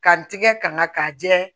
Ka n tigɛ kama k'a jɛ